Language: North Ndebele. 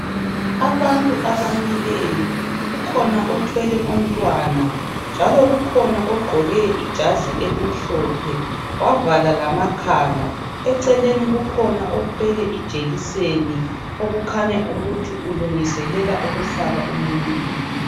Abantu abamileyo kukhona othwele umntwana njalo kukhona ogqqoke ijazi elimhlophe wavala lamakhala eceleni kukhona othwele ijekiseni okukhanya ukuthi ulungiselela ukuhlaba umuntu.